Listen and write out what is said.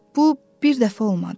Bu bir dəfə olmadı.